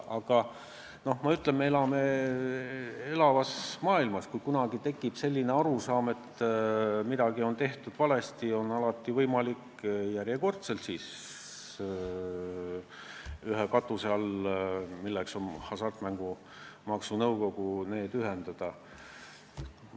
Aga ma ütlen, et me elame elavas maailmas ja kui kunagi tekib arusaam, et midagi on tehtud valesti, siis on alati võimalik kogu see temaatika järjekordselt ühe katuse alla ehk Hasartmängumaksu Nõukogusse ühendada.